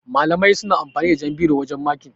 Malamai suna amfani da jan biro wajan makin.